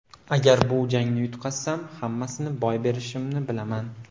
Agar bu jangni yutqazsam, hammasini boy berishimni bilaman.